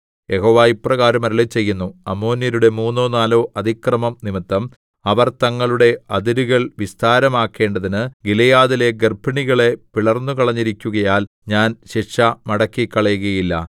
യഹോവ ഇപ്രകാരം അരുളിച്ചെയ്യുന്നു അമ്മോന്യരുടെ മൂന്നോ നാലോ അതിക്രമംനിമിത്തം അവർ തങ്ങളുടെ അതിരുകൾ വിസ്താരമാക്കേണ്ടതിന് ഗിലെയാദിലെ ഗർഭിണികളെ പിളർന്നുകളഞ്ഞിരിക്കുകയാൽ ഞാൻ ശിക്ഷ മടക്കിക്കളയുകയില്ല